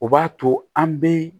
O b'a to an bɛ